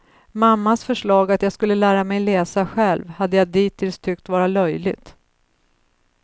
Mammas förslag att jag skulle lära mig läsa själv, hade jag dittills tyckt vara löjligt.